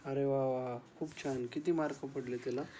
अरे वाह वाह! खूप छान, किती मार्क पडले तिला?